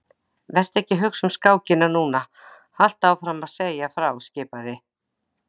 Vertu ekki að hugsa um skákina núna, haltu áfram að segja frá skipaði